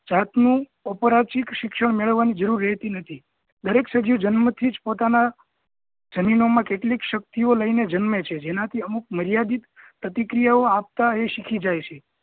જાતનું અપરચિત શિક્ષણ મેળવવા ની જરૂર રહેતી નથી દરેક સજીવ જન્મ થી જ પોતાના જનીનો મા કેટલીક શક્તિ ઓ લઈને જન્મે છે જેનાથી અમુક મર્યાદિત પ્રતિક્રિયા ઓ આપતા એ શીખી જાય છે